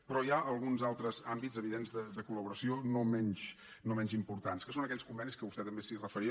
però hi ha alguns altres àmbits evidents de collaboració no menys importants que són aquells convenis als quals vostè també es referia